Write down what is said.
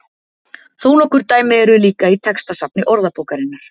þó nokkur dæmi eru líka í textasafni orðabókarinnar